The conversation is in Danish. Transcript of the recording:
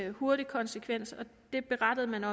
en hurtig konsekvens og det berettede man